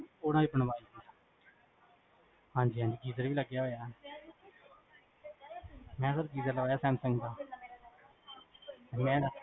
ਉਹਨਾਂ ਦੇ ਬਣਵਾਈ, ਹਾਂਜੀ ਹਾਂਜੀ geaser ਲੱਗਿਆ ਹੋਇਆ ਆ ਮੈਂ ਸਰ geaser ਲਗਵਾਇਆ ਸੈਮਸੰਗ ਦਾ